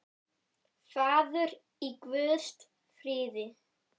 Farðu í Guðs friði.